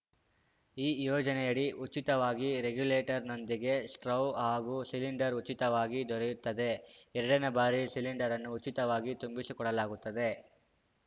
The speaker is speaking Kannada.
ಈ ಯೋಜನೆಯಡಿ ಉಚಿತವಾಗಿ ರೆಗ್ಯೂಲೆಟರ್‌ನೊಂದಿಗೆ ಸ್ಟೌವ್‌ ಹಾಗೂ ಸಿಲಿಂಡರ್‌ ಉಚಿತವಾಗಿ ದೊರೆಯುತ್ತದೆ ಎರಡ ನೇ ಬಾರಿ ಸಿಲಿಂಡರ್‌ ಅನ್ನು ಉಚಿತವಾಗಿ ತುಂಬಿಸಿಕೊಡಲಾಗುತ್ತದೆ